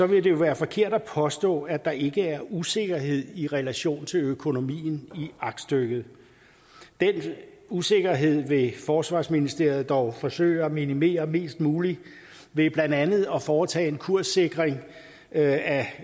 vil det jo være forkert at påstå at der ikke er usikkerhed i relation til økonomien i aktstykket den usikkerhed vil forsvarsministeriet dog forsøge at minimere mest muligt ved blandt andet at foretage en kurssikring af